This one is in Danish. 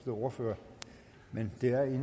ordførere